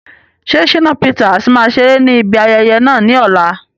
Ṣé Shina Peters máa ṣeré ní ibi ayẹyẹ náà ní ọ̀la?